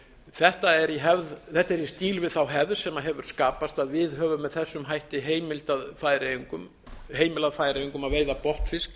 þetta er í stíl við þá hefð sem hefur skapast að við höfum með þessum hætti heimilað færeyingum að veiða botnfisk